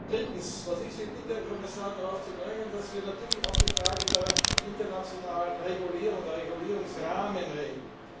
Drittens Was ich Sie bitte, Herr Kommissar, ist, darauf zu drängen, dass wir natürlich auch über die Frage der internationalen Regulierung, der Regulierungsrahmen reden.